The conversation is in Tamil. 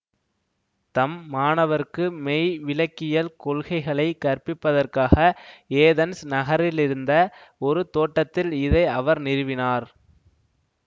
தம் மாணவர்க்கு மெய் விளக்கியல் கொள்கைகளை கற்பிப்பதற்காக ஏதென்ஸ் நகரத்திலிருந்த ஒரு தோட்டத்தில் இதை அவர் நிறுவினார்